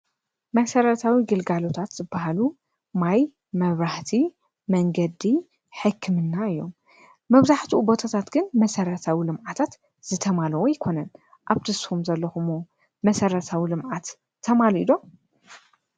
መሰረታዊ ግልጋሎታት ዝበሃሉ ማይ፣ መብራህቲ፣ መንገዲ፣ ሕክምና እዮም። መብዛሕቲኡ ቦታታት ግን መሰረታዊ ልምዓታት ዝተማልኡ ኣይኮኑን። ኣብቲ እስኹም ዘለኽመዎ መሰረታዊ ልምዓት ተማሊኡ ዶ?